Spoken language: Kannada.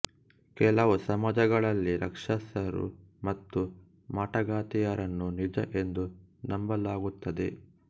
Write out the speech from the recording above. ಕೆಲವು ಸಮಾಜಗಳಲ್ಲಿ ರಾಕ್ಷಸರು ಮತ್ತು ಮಾಟಗಾತಿಯರನ್ನು ನಿಜ ಎಂದು ನಂಬಲಾಗುತ್ತದೆ